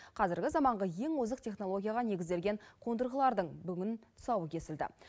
қазіргі заманғы ең озық технологияға негізделген қондырғылардың бүгін тұсауы кесілді